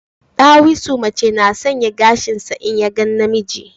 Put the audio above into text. Ɗawisu mace na shanya gashinsa in ya ga namiji